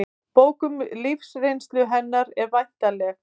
Bók um lífsreynslu hennar er væntanleg